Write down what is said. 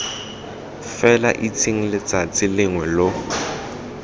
fela itseng letsatsi lengwe lo